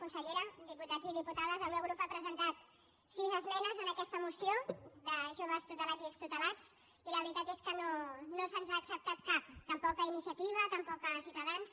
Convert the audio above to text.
consellera diputats i diputades el meu grup ha presentat sis esmenes a aquesta moció de joves tutelats i extutelats i la veritat és que no se’ns n’ha acceptada cap tampoc a iniciativa tampoc a ciutadans